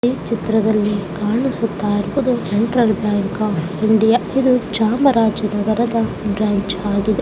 ಈ ಚಿತ್ರದಲ್ಲಿ ಕಾಣಿಸುತ್ತ ಇರುವುದು ಸೆಂಟ್ರಲ್ ಬ್ಯಾಂಕ್ ಆಫ್ ಇಂಡಿಯಾ ಇದು ಚಾಮರಾಜನಗರದ ಬ್ರಾಂಚ್ ಆಗಿದೆ .